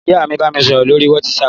Ìyá mi bá mi sọ̀rọ̀ lóríi wátísapù